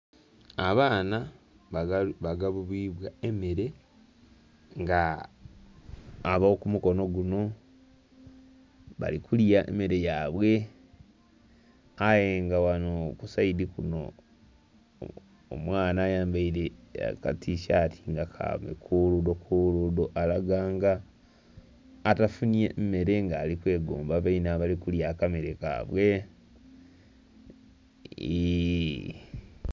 Abaana bagabulibwa emeere nga abo kumukono gunho bali kulya emeere yaibwe aye nga ghanho kusayidhi kuno omwaana ayambaire eketisaati nga kabikuludho kuludho alaga nga atafunhye mmere nga ali kwegomba bainhe abali kulya akamere kaibwe..eeee...